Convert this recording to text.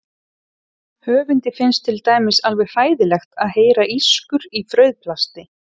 Höfundi finnst til dæmis alveg hræðilegt að heyra ískur í frauðplasti.